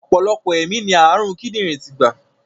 Ọ̀pọ̀lọpọ̀ ẹ̀mí ni ààrùn kídìrín ti gbà.